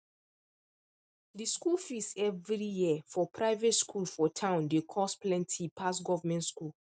the school fees every year for private school for town dey cost plenty pass government school